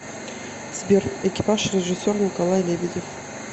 сбер экипаж режиссер николай лебедев